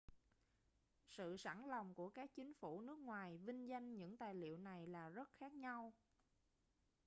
sự sẵn lòng của các chính phủ nước ngoài vinh danh những tài liệu này là rất khác nhau